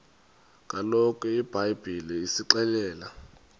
kaloku ibhayibhile isixelela